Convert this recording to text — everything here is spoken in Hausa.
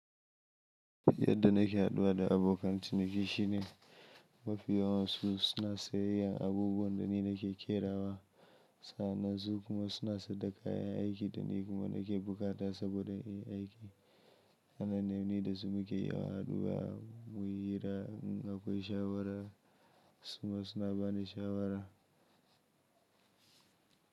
Yadda nake haɗuwa da abokan ciniki shine mafi yawansu suna sayen abubuwan da ni nake ƙerawa sa'an nan su kuma suna saida kayan aiki da ni kuma nake buƙata saboda in yin aiki. Anan ne wanda su muke haɗuwa muyi hira, in akwai shawara, su ma suna bani shawara.